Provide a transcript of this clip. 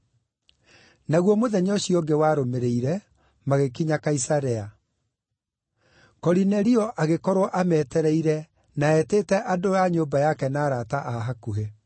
Naguo mũthenya ũcio ũngĩ warũmĩrĩire magĩkinya Kaisarea. Korinelio agĩkorwo ametereire na eetĩte andũ a nyũmba yake na arata a hakuhĩ.